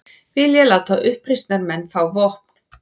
Vilja láta uppreisnarmenn fá vopn